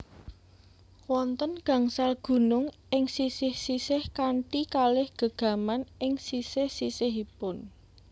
Wonten gangsal gunung ing sisih sisih kanthi kalih gegaman ing sisih sisihipun